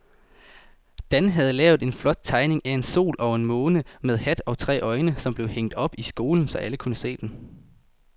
Dan havde lavet en flot tegning af en sol og en måne med hat og tre øjne, som blev hængt op i skolen, så alle kunne se den.